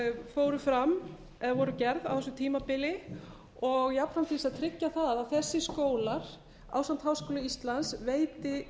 fóru fram eða voru gerð á þessu tímabili og jafnframt til að tryggja það að þessir skólar ásamt háskóla íslands veiti